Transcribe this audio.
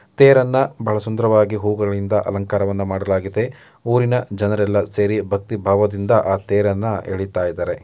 ತೇರನ್ನ ಬಹಳ ಸುಂದರವಾಗಿ ಹೂಗಳಿಂದ ಅಲಂಕಾರವನ್ನ ಮಾಡಲಾಗಿದೆ ಊರಿನ ಜನರೆಲ್ಲ ಸೇರಿ ಭಕ್ತಿ ಭಾವದಿಂದ ಆ ತೇರನ್ನು ಎಳಿತ ಇದ್ದಾರೆ.